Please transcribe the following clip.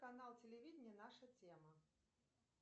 канал телевидения наша тема